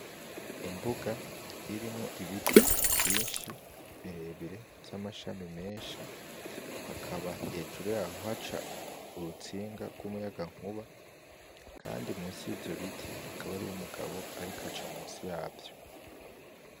Imbuga irimwo ibiti vyinshi birebire vy'amashami menshi, hakaba hejuru yaho haca urutsinga rw'umuyagankuba, kandi musi y'ivyo biti hakaba hari umugabo ariko aca musi yavyo.